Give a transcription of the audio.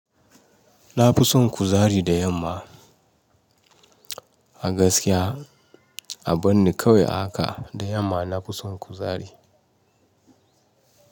Na fi son kuzari da yamma a gaskiya a banni kawai ahaka da yamma na fi son kuzari.